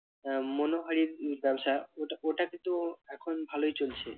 আহ মনোহারীর ব্যবসা ওটা ওটা কিন্তু এখন ভালই চলছে।